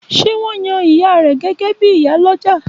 Ṣé wón yan ìyá rẹ gégé bíi ìyálọ́jà?